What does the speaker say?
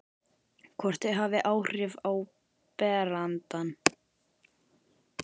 Hvort þau hafi áhrif á berandann.